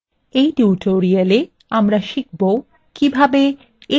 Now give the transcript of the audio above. in tutorialwe আমরা শিখবো কিভাবে